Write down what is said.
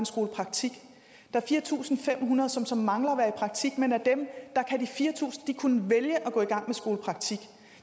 skolepraktik der er fire tusind fem hundrede som så mangler at være i praktik men af dem kan de fire tusind vælge at gå i gang med skolepraktik